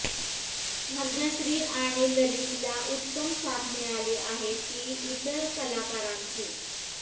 भाग्यश्री आणि ललितला उत्तम साथ मिळाली आहे ती इतर कलाकारांची